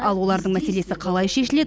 ал олардың мәселесі қалай шешіледі